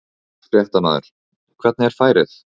Fréttamaður: Hvernig er færið?